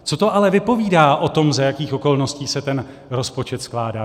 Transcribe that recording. Co to ale vypovídá o tom, za jakých okolností se ten rozpočet skládá?